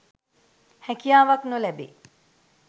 හැකියාවක් නො ලැබේ.